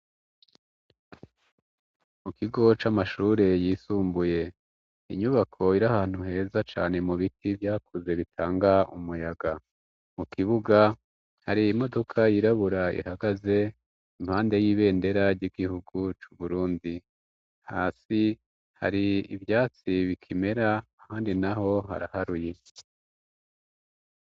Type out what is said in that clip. kU kigo c'amashure yisumbuye, inyubako iri ahantu heza cane mu biti vyakuze bitanga umuyaga, mu kibuga hari imodoka yirabura ihagaze impande y'ibendera ry'igihugu c'u burundi, hasi hari ivyatsi bibikimera handi na ho haraharuye.